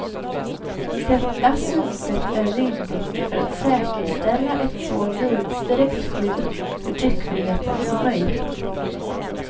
Detta synsätt är rimligt för att säkerställa ett så vidsträckt skydd för tryckfriheten som möjligt.